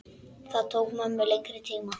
Það tók mömmu lengri tíma.